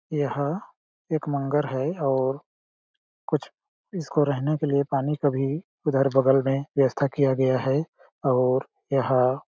यहाँ एक मंगर है और कुछ इसको रहने के लिए पानी का भी उधर बगल में व्यस्था किया गया है और यह --